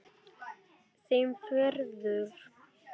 Þeim ferðum.